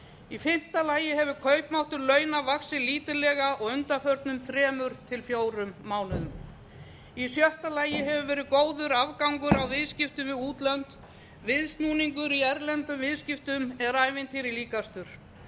í fimmta lagi hefur kaupmáttur launa vaxið lítillega á undanförnum þremur til fjórum mánuðum í sjötta lagi hefur verið góður afgangur á viðskiptum við útlönd viðsnúningur í erlendum viðskiptum er ævintýri líkastur